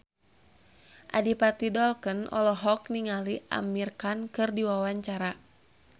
Adipati Dolken olohok ningali Amir Khan keur diwawancara